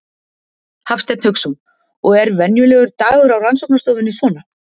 Hafsteinn Hauksson: Og er venjulegur dagur á rannsóknarstofunni svona?